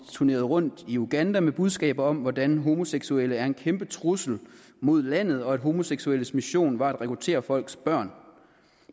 turneret rundt i uganda med budskabet om hvordan homoseksuelle er en kæmpe trussel mod landet og at homoseksuelles mission var at rekruttere folks børn